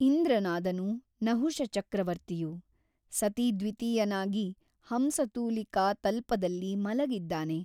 ಇಂದ್ರನಾದನು ನಹುಷ ಚಕ್ರವರ್ತಿಯು ಸತೀದ್ವಿತೀಯನಾಗಿ ಹಂಸತೂಲಿಕಾತಲ್ಪದಲ್ಲಿ ಮಲಗಿದ್ದಾನೆ.